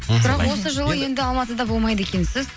осы жылы енді алматыда болмайды екенсіз